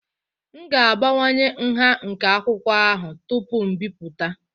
M ga-abawanye nha nke akwụkwọ ahụ tupu m ebipụta